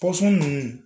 Pɔsɔn ninnu